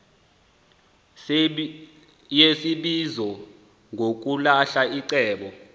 yesibizo ngokulahla iceba